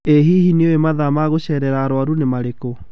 Ĩ hihi nĩũũĩ mathaa ma gũcerera arwaru nĩ marĩkũ?